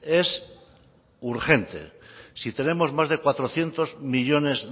es urgente si tenemos más de cuatrocientos millónes